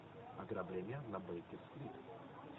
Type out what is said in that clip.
ограбление на бейкер стрит